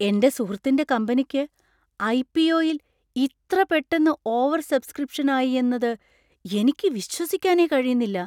എൻ്റെ സുഹൃത്തിൻ്റെ കമ്പനിക്ക് ഐ.പി.ഒ.യിൽ ഇത്ര പെട്ടെന്ന് ഓവർസബ്സ്ക്രിപ്‌ഷൻ ആയി എന്നത് എനിക്ക് വിശ്വസിക്കാനേ കഴിയുന്നില്ല.